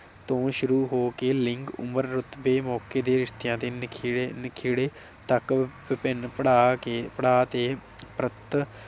ਤੋਂ ਸ਼ੁਰੂ ਹੋ ਕੇ ਲਿੰਗ ਉਮਰ ਰੁਤਬੇ ਮੌਕੇ ਦੇ ਰਿਸ਼ਤਿਆਂ ਦੇ ਨਿਖੇੜੇ ਨਿਖੇੜੇ ਤੱਕ ਵਿਭਿੰਨ ਪੜਾ ਕੇ ਪੜਾ ਤੇ ਪ੍ਰਗਟ